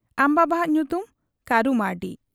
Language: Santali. ᱟᱢ ᱵᱟᱵᱟ ᱦᱟᱜ ᱧᱩᱛᱩᱢ ? ᱠᱟᱹᱨᱩ ᱢᱟᱹᱨᱰᱤ ᱾'